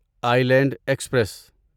Iceland express